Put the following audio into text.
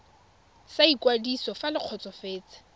sa ikwadiso fa le kgotsofetse